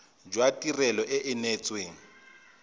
jwa tirelo e e neetsweng